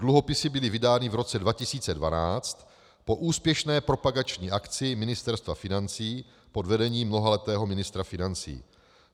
Dluhopisy byly vydány v roce 2012 po úspěšné propagační akci Ministerstva financí pod vedením mnohaletého ministra financí.